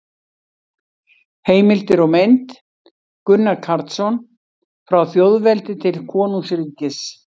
Heimildir og mynd: Gunnar Karlsson: Frá þjóðveldi til konungsríkis